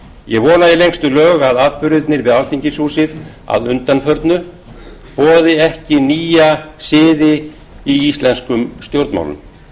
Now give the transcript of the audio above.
ég vona í lengstu lög að atburðirnir við alþingishúsið að undanförnu boði ekki nýja siði í íslenskum